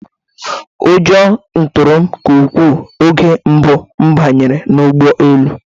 Ụjọ tụrụ m nke ukwuu oge mbụ m banyere n'ụgbọelu